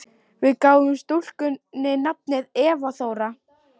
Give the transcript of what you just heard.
Við gáfum stúlkunni nafnið Eva Þóra.